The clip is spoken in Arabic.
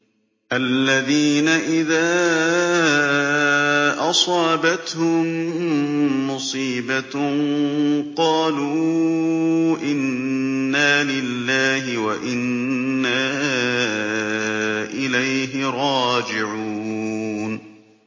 الَّذِينَ إِذَا أَصَابَتْهُم مُّصِيبَةٌ قَالُوا إِنَّا لِلَّهِ وَإِنَّا إِلَيْهِ رَاجِعُونَ